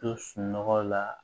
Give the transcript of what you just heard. To sunɔgɔ la